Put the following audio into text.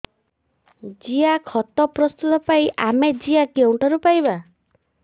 ଜିଆଖତ ପ୍ରସ୍ତୁତ ପାଇଁ ଆମେ ଜିଆ କେଉଁଠାରୁ ପାଈବା